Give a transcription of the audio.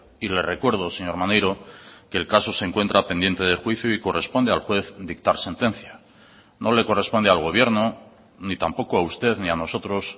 y le recuerdo señor maneiro que el caso se encuentra pendiente de juicio y corresponde al juez dictar sentencia no le corresponde al gobierno ni tampoco a usted ni a nosotros